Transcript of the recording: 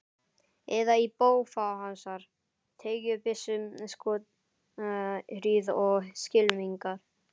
Eða í bófahasar, teygjubyssuskothríð og skylmingar.